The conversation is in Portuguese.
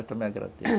Eu também agradeço